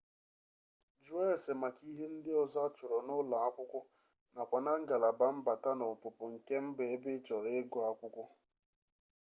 jụọ ese maka ihe ndị ọzọ achọrọ n'ụlọ akwụkwọ nakwa na ngalaba mbata na ọpụpụ nke mba ebe ị chọrọ ịgụ akwụkwọ